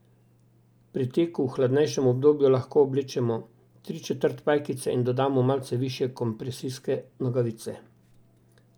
Pri teku v hladnejšem obdobju lahko oblečemo tri četrt pajkice in dodamo malce višje kompresijske nogavice.